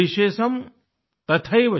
शेषम् तथैवच